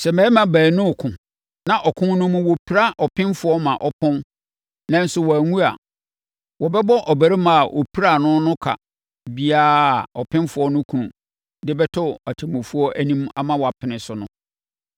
“Sɛ mmarima baanu reko na ɔko no mu wɔpira ɔpemfoɔ ma ɔpɔn, nanso wanwu a, wɔbɛbɔ ɔbarima a ɔpiraa no no ka biara a ɔpemfoɔ no kunu de bɛto atemmufoɔ anim ama wɔapene so no.